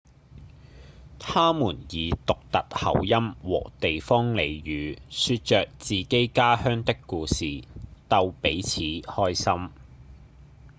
他們以獨特口音和地方俚語說著自己家鄉的故事逗彼此開心